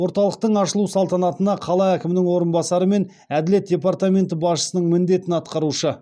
орталықтың ашылу салтанатына қала әкімінің орынбасары мен әділет департаменті басшысының міндетін атқарушы